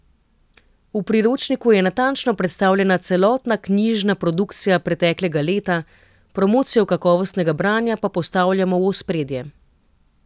V priročniku je natančno predstavljena celotna knjižna produkcija preteklega leta, promocijo kakovostnega branja pa postavljamo v ospredje.